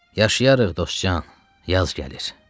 Yaşayarıq dostcan, yaz gəlir.